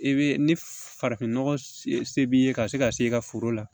E be ni farafinnɔgɔ se b'i ye ka se ka se i ka foro la